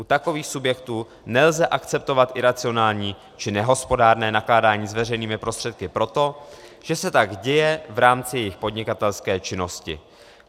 U takových subjektů nelze akceptovat iracionální či nehospodárné nakládání s veřejnými prostředky proto, že se tak děje v rámci jejich podnikatelské činnosti.